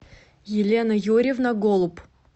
елена юрьевна голуб